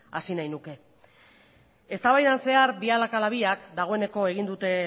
hasi nahiko nuke eztabaidan zehar biak a la biak dagoeneko egin dute